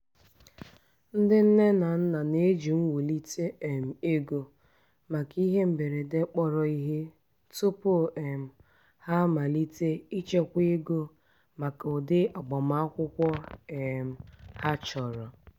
iji ịtụ egwu na-akpọ ndị enyi n'ekwentị na-ekwurịta banyere nsogbu ego ọzọ nwee mmetụta nke ịbụ onye e meriri kpam kpam.